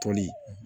Toli